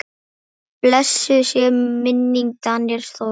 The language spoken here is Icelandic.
Blessuð sé minning Daníels Þóris.